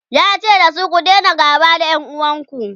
yace dasu " ku Daina gaba da ƴan uwanku!"